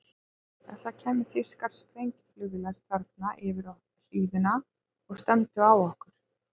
Ef það kæmu þýskar sprengjuflugvélar þarna yfir hlíðina og stefndu á okkur?